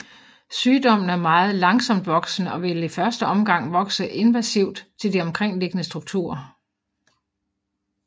Sygdommen er meget langsomt voksende og vil i første omgang vokse invasivt til de omkringliggende strukturer